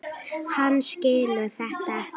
Hann skilur þetta ekki.